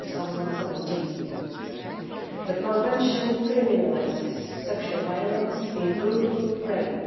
2017. The Convention criminalises sexual violence, including rape.